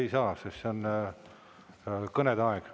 Ei saa, sest see on kõnede aeg.